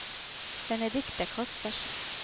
Benedikte Kaspersen